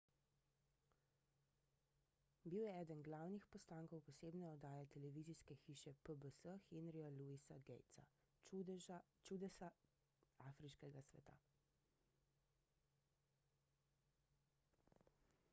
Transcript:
bil je eden glavnih postankov posebne oddaje televizijske hiše pbs henryja louisa gatesa »čudesa afriškega sveta«